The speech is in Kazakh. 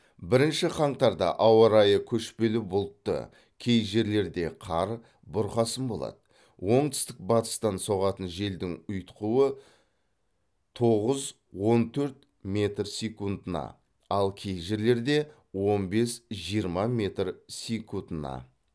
бірінші қаңтарда ауа райы көшпелі бұлтты кей жерлерде қар бұрқасын болады оңтүстік батыстан соғатын желдің ұйытқуы тоғыз он төрт метр секундына ал кей жерлерде он бес жиырма метр секундына